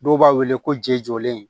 Dɔw b'a wele ko je jɔlen